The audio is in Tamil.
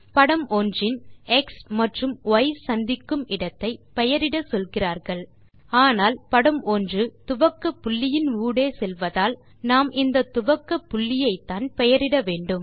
படம் 1 இன் எக்ஸ் மற்றும் ய் சந்திக்கும் இடத்தை பெயரிட சொல்கிறார்கள் ஆனால் படம் 1 துவக்கப்புள்ளியின் ஊடே செல்வதால் நாம் இந்த துவக்கப்புள்ளியைத்தான் பெயரிட வேண்டும்